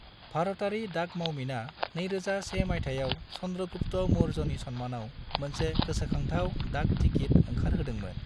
भारतारि डाक मावमिना 2001 मायथाइयाव चंद्रगुप्त मौर्यनि सन्मानाव मोनसे गोसोखांथाव डाक टिकिट ओंखारहोदोंमोन।